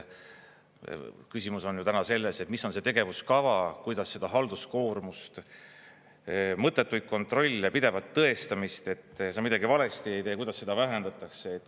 Küsimus on ju selles, et mis on see tegevuskava, kuidas seda halduskoormust, mõttetuid kontrolle, pidevat tõestamist, et sa midagi valesti ei tee, kuidas seda vähendatakse.